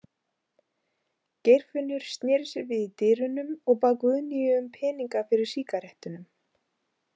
Geirfinnur sneri sér við í dyrunum og bað Guðnýju um peninga fyrir sígarettunum.